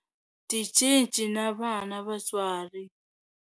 Tincece na vana Vatswari.